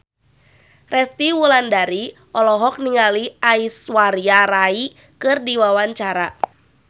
Resty Wulandari olohok ningali Aishwarya Rai keur diwawancara